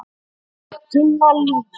Tinna Líf.